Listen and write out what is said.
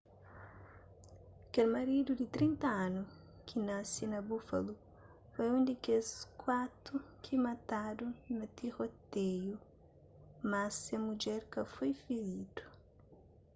kel maridu di 30 anu ki nasi na buffalo foi un di kes kuatu ki matadu na tiroteiu más se mudjer ka foi firidu